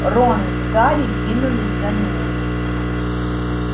рон с гарри двинулись за ними